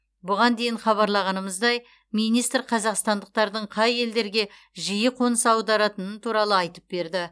бұған дейін хабарлағанымыздай министр қазақстандықтардың қай елдерге жиі қоныс аударатының туралы айтып берді